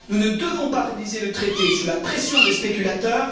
Nous ne devons pas réviser le traité sous la pression des spéculateurs.